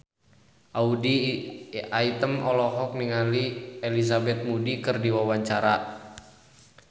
Audy Item olohok ningali Elizabeth Moody keur diwawancara